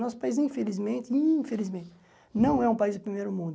Nosso país, infelizmente, infelizmente não é um país de primeiro mundo.